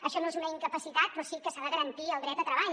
això no és una incapacitat però sí que s’ha de garantir el dret a treball